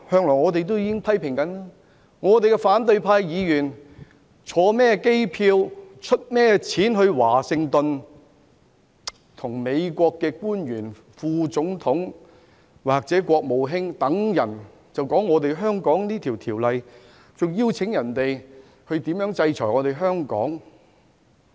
我們不知道反對派議員乘坐甚麼機位，用甚麼人的錢前往華盛頓，與美國的副總統或國務卿等官員討論香港的《條例草案》，還邀請別人制裁香港。